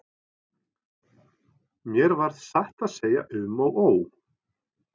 Mér varð satt að segja um og ó.